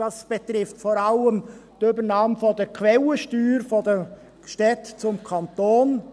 Dies betrifft vor allem die Übernahme der Quellensteuer von den Städten durch den Kanton.